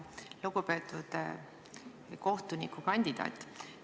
Lugupeetud kohtunikukandidaat!